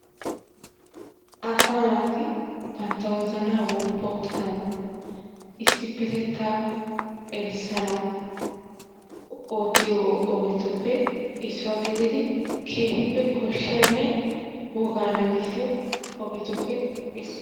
Asaa naati bantta wozanaa woppu oottanawu issippetettaa erissanawu ootiyo ogetuppe issuwa gididi keehippe koshshiyaanne wogaa nagissiyo ogetuppe issuwa.